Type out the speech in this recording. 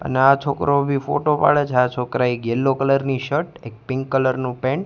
અને આ છોકરો બી ફોટો પાડે છે આ છોકરાએ એક યેલો કલર ની શર્ટ પિંક કલર નુ પેન્ટ --